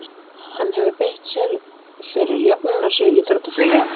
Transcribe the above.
Hann hefur beitt sér fyrir jöfnunarsjóði íþróttafélaganna.